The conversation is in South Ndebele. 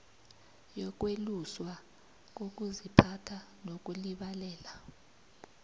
yokweluswa kokuziphatha nokulibalela